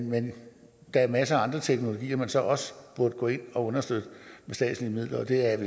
men der er masser af andre teknologier man så også burde gå ind og understøtte med statslige midler og det er